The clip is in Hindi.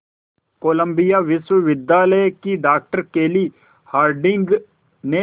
कोलंबिया विश्वविद्यालय की डॉक्टर केली हार्डिंग ने